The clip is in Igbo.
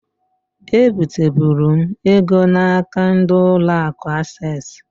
E biteburu m ego na-aka ndi ụlọ akụ Ases.